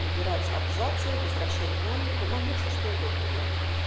убирать абзацы возвращать динамику могли всё что угодно делать